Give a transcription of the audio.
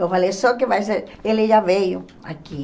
Eu falei, só que vai ser... Ele já veio aqui.